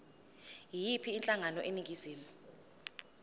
yiyiphi inhlangano eningizimu